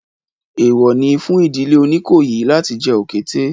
Èèwọ̀ ni fún ìdílé Oníkòyí láti jẹ òkété